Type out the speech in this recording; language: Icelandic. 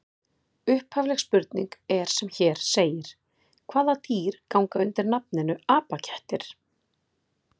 Upphafleg spurning er sem hér segir: Hvaða dýr ganga undir nafninu apakettir?